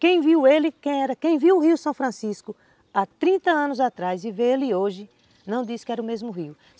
Quem viu ele, quem viu o Rio São Francisco há trinta anos atrás e vê ele hoje, não diz que era o mesmo rio.